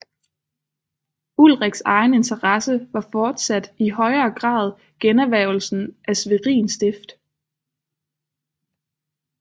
Ulriks egen interesse var fortsat i højere grad generhvervelsen af Schwerin stift